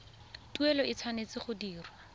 tuelo e tshwanetse go dirwa